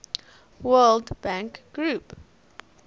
world bank group